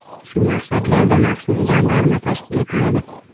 Shu maqsadlarda maxsus jamg‘arma tashkil etiladi.